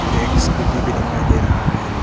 एक स्कूटी भी दिखाई दे रहा है।